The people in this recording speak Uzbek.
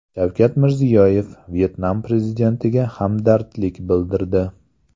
Shavkat Mirziyoyev Vyetnam prezidentiga hamdardlik bildirdi.